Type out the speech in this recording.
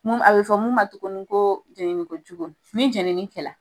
A bɛ fɔ mun ma tuguni ko jenini kojugu , ni jeniin kɛlɛ.